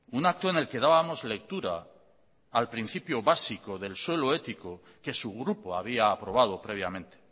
un acto en el que dábamos lectura al principio básico del suelo ético que su grupo había aprobado previamente